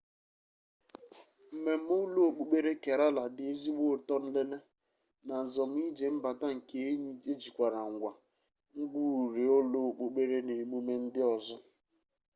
mmeme ulo-okpukpere kerala di ezigbo uto nlele na nzom-ije mbata nke enyi ejikwara ngwa ngwa-uri ulo-okpukpere na emume ndi ozo